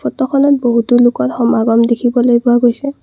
ফটোখনত বহুতো লোকৰ সমাগম দেখিবলৈ পোৱা গৈছে।